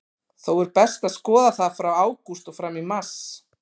Þó er best að skoða það frá ágúst og fram í mars.